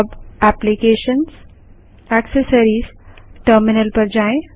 अब applications GT accessories GT terminal पर जाएँ